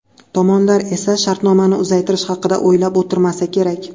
Tomonlar esa shartnomani uzaytirish haqida o‘ylab o‘tirmasa kerak.